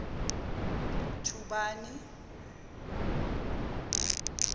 thubani